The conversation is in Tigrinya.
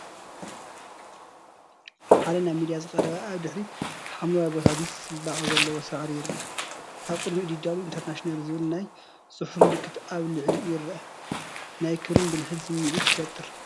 ሓደ ናብ ሚያ ዝቐረበ ኣብ ድሕሪት ሓምላይ ቦታ ምስ ጽባቐ ዘለዎ ሳዕሪ ይርአ። ኣብ ቅድሚኡ “DW International” ዝብል ናይ ፅሑፍ ምልክት ኣብ ልዕሊኡ ይርአ። ናይ ክብርን ብልሕን ስምዒትን ይፈጥር።